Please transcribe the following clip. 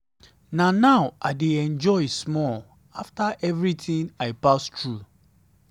na now i dey enjoy small after everything i pass through. through.